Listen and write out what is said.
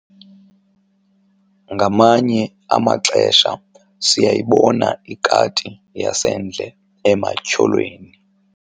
Nngamanye amaxesha siyayibona ikati yasendle ematyholweni